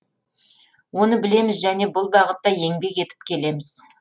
оны білеміз және бұл бағытта еңбек етіп келеміз